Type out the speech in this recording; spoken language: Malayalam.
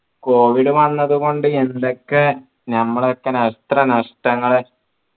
covid വന്നത്കൊണ്ട് എന്തൊക്കെ നമ്മളെ എത്ര നഷ്ടങ്ങൾ